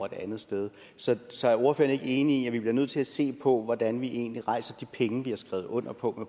et andet sted så så er ordføreren ikke enig i at vi bliver nødt til at se på hvordan vi egentlig rejser de penge vi har skrevet under på